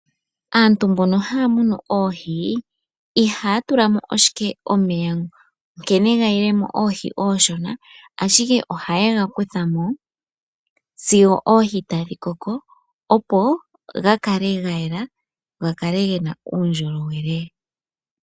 Aanafaalama yoohi ihaya tula mo ashike omeya nkene gayilemo oohi sho dhali oonshona, ashike ohaye ga lundulula gakale gayela.